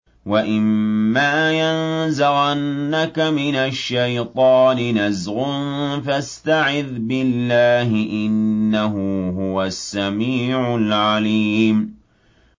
وَإِمَّا يَنزَغَنَّكَ مِنَ الشَّيْطَانِ نَزْغٌ فَاسْتَعِذْ بِاللَّهِ ۖ إِنَّهُ هُوَ السَّمِيعُ الْعَلِيمُ